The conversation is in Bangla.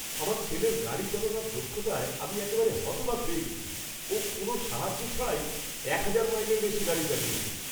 আমার ছেলের গাড়ি চালানোর দক্ষতায় আমি একেবারে হতবাক হয়ে গেছি! ও কোনও সাহায্য ছাড়াই এক হাজার মাইলের বেশি গাড়ি চালিয়েছে!